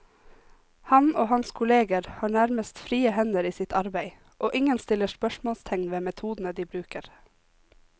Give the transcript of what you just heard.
Han og hans kolleger har nærmest frie hender i sitt arbeid, og ingen stiller spørsmålstegn ved metodene de bruker.